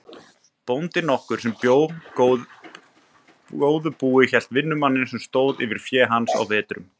Bóndi nokkur sem bjó góðu búi hélt vinnumann sem stóð yfir fé hans á vetrum.